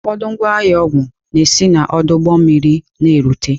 Ụfọdụ ngwa ahịa ọgwụ na-esi n'ọdụ ụgbọ mmiri na-erute.